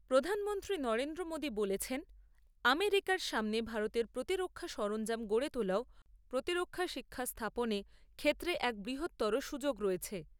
প্রধানমন্ত্রী নরেন্দ্র মোদী বলেছেন, আমেরিকার সামনে ভারতে প্রতিরক্ষা সরঞ্জাম গড়ে তোলা ও প্রতিরক্ষা শিক্ষাস্থাপনে ক্ষেত্রে এক বৃহত্তর সুযোগ রয়েছে।